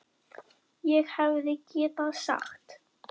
ÉG HEFÐI GETAÐ SAGT